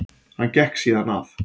Hann gekk síðan að